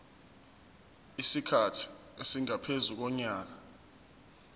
isikhathi esingaphezu konyaka